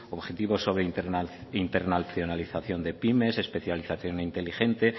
objetivos sobre internacionalización de pyme especialización inteligente